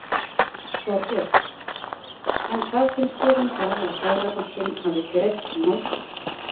Þorbjörn: En hvað finnst þér um það að Seðlabankinn hafi greidd málskostnaðinn hans?